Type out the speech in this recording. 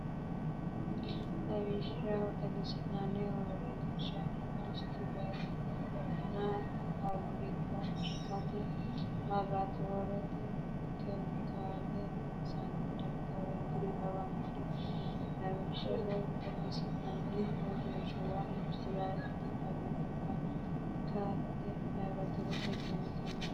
Lawishshaho, xagisi’nanni uurrinshiwa, industiretenna faabrik- kate, laaboratorete, kemikaale loonsanni darga, w k l Lawishshaho, xagisi’nanni uurrinshiwa, industiretenna faabrik- kate, laaboratorete, kemikaale loonsanni darga, w k l.